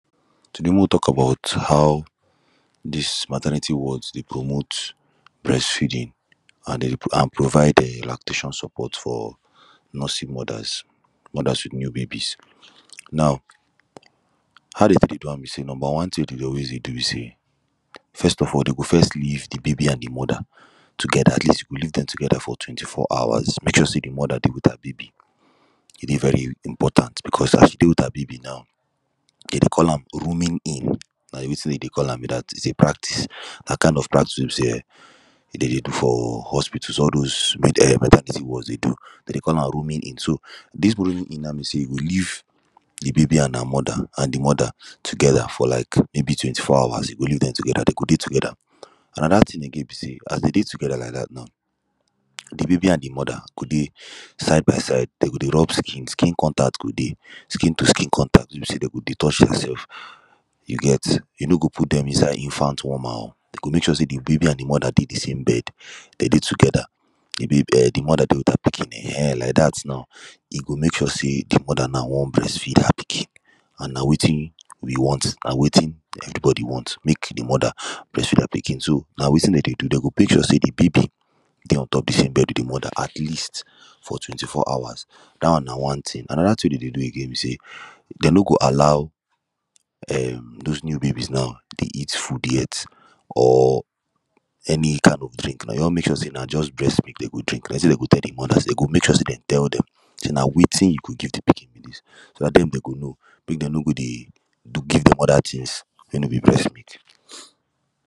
Today mek we tok about how dis maternity wards dey promote breastfeeding an dem an provide eh lactation support for nursing modas modas wit new babies now how dey Tek dey do am be say number one tin wey dey dey always dey do be say first of all dem go first leave de baby an de moda togeda atleast dem go leave dem togeda for twenty four hours make sure say dem moda dey wit her baby e dey very important becos as she dey wit her baby now dem dey call am rooming in na wetin dem dey Call am be dat it is a practice na kind of practice wey be say um dem dey do for hospitals all those eh maternity wards dey do dem dey call am rooming in dis rooming in now be say you go leave leave de baby an her moda an de moda togeda for like maybe twenty four hours you go leave dem togeda dem go dey togeda anoda tin again be say as dem dey togeda now de baby an de moda go dey side by side dem go dey rub skin skin contact go dey skin to skin contact wey be say dem go dey touch dem sefs you get you no go put dem inside infant warmer you go mek sure say de baby an de moda dey de same bed dem dey togeda de moda dey wit her pikin um like dat now e go mek sure say de moda now wan breast feed her pikin and na wetin we want na wetin everybody wan mek de moda breastfeed her pikin so na wetin dem dey do dem go mek sure say de baby dey ontop de same bed wit de Moda atleast for twenty four hours dat one na one tin anoda tin we dem dey do again be say dem no go allow those new babies now dey eat food yet or any kind of drink dey just mek sure say na breastmilk wey dem go drink dem say dem go tell de moda dem go make sure say dem tell dem say na wetin you go give de pikin be dis so dat dem dey dem go know mek dem no go dey give dem oda tins wey no be brest milk.